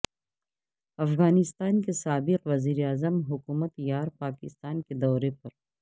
افغانستان کے سابق وزیراعظم حکمت یار پاکستان کے دورے پر